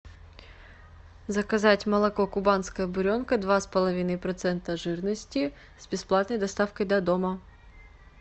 заказать молоко кубанская буренка два с половиной процента жирности с бесплатной доставкой до дома